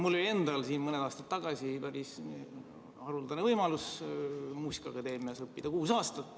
Mul oli endal mõni aasta tagasi päris haruldane võimalus kuus aastat muusikaakadeemias õppida.